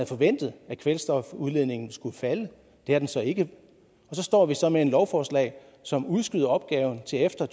forventet at kvælstofudledningen skulle falde det er den så ikke så står vi så med et lovforslag som udskyder opgaven til efter